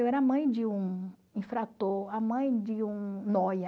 Eu era mãe de um infrator, a mãe de um nóia.